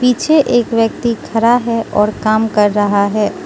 पीछे एक व्यक्ति खड़ा है और काम कर रहा है।